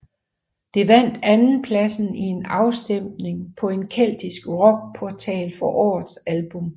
Det vandt andenpladsen i en afstemning på en keltisk rockportal for årets album